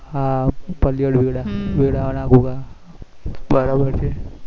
હા પલ્લવ વેડા વેડા ના ગોગા બરાબર છે